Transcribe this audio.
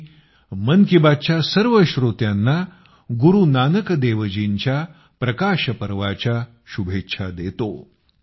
मी मन की बातच्या सर्व श्रोत्यांना गुरू नानकदेवजीच्या प्रकाशपर्वबद्दल शुभेच्छा देतो